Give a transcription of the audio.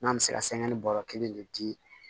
N'an bɛ se ka sɛgɛn bɔrɔ kelen de di